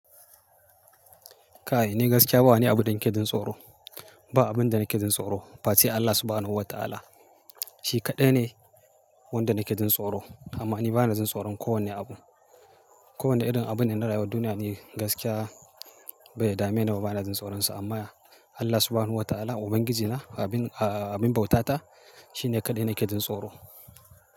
Kai ni gaskiya ba ni abu da nake jin tsoro. Ba abin da nake jin tsoro ba face Allah Subhanahu wa Ta'ala. Shi kaɗai ne wanda nake jin tsoro. Amma ni bana jin tsoron kowane abu. Kowane irin abin da na rayu a duniya ni gaskiya bai dame ni ba, bana jin tsoronsa. Amma Allah Subhanahu wa Ta'ala, Ubangijina, abin, abin bauta ta, shi ne kaɗai nake jin tsoro.